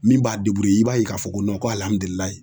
Min b'a deburuye i b'a ye k'a fɔ ko nɔn ko alihamudulilayi